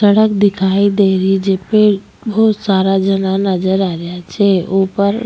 सड़क दिखाई दे रही छे जेपी बहुत सारा जना नजरआ रिया छे ऊपर --